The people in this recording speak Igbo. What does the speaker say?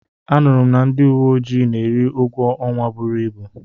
Anụrụ m na ndị uwe ojii na-eri ụgwọ ọnwa buru ibu.